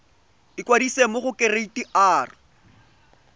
ikwadisa mo go kereite r